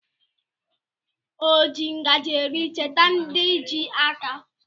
Oji ngaji eri cheta ndị ji aka.